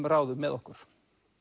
ráðum með okkur